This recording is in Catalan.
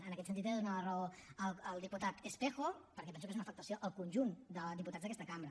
en aquest sentit he de donar la raó al diputat espejo perquè penso que és una afectació al conjunt de diputats d’aquesta cambra